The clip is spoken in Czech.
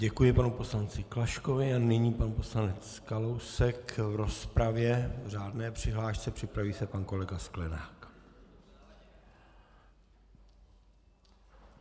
Děkuji panu poslanci Klaškovi a nyní pan poslanec Kalousek v rozpravě v řádné přihlášce, připraví se pan kolega Sklenák.